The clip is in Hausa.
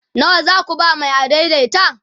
nawa zaku ba Mai adaidaita?